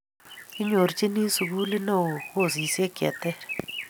kinyorchini sukulit neoo kosisiek che terter